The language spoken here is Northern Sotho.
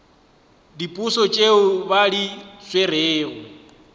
diposo tšeo ba di swerego